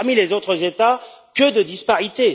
Et parmi les autres États, que de disparités!